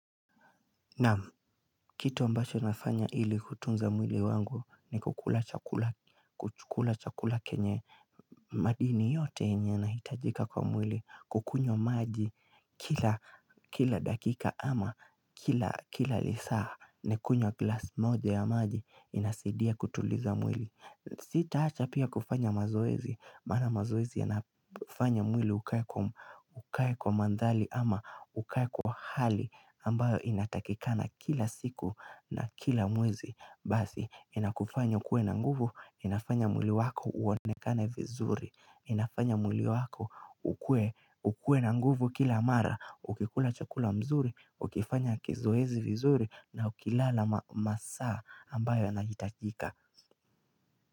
Kitu ambacho inafanya ili kutunza mwili wangu ni kukula chakula kukula chakula kenye madini yote yenye inahitajika kwa mwili kukunywa maji kila kila dakika ama kila lisaa nakunywa glass moja ya maji inasidia kutuliza mwili. Sitaacha pia kufanya mazoezi Maana mazoezi inafanya mwili ukae kwa mandhali ama ukae kwa hali ambayo inatakikana kila siku na kila mwezi Basi inakufanya ukuwe na nguvu inafanya mwili wako uonekane vizuri inafanya mwili wako ukuwe ukuwe na nguvu kila mara Ukikula chakula mzuri, ukifanya kizoezi vizuri na ukilala masaa ambayo yanahitajika.